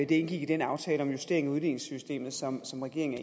det indgik i den aftale om justering af udligningssystemet som som regeringen